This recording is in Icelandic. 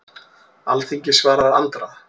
Alþingi svarar Andra